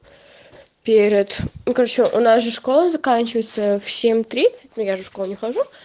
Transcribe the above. перед ну короче у нас же школа заканчивается в семь тридцать ну я же в школу не хожу